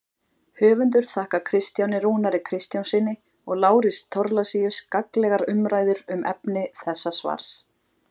Höfundur þakkar Kristjáni Rúnari Kristjánssyni og Lárusi Thorlacius gagnlegar umræður um efni þessa svars.